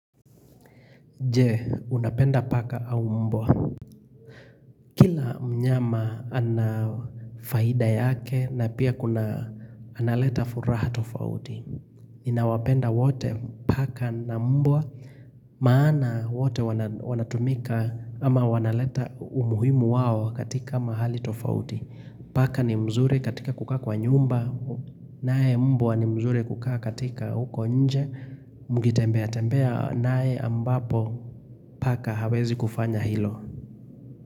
Je, unapenda paka au mbwa. Mnyama anafaida yake na pia kuna analeta furaha tofauti. Ninawapenda wote paka na mbwa maana wote wanatumika ama wanaleta umuhimu wao katika mahali tofauti. Paka ni mzuri katika kukaa kwa nyumba. Naye mbwa ni mzuri kukaa katika huko nje. Mkitembea tembea naye ambapo paka hawezi kufanya hilo.